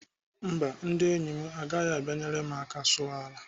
Mba, ndị enyi agaghị abịa enyere m aka sụọ ala.